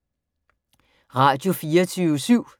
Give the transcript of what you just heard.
Radio24syv